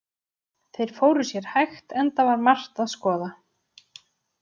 Þeir fóru sér hægt, enda var margt að skoða.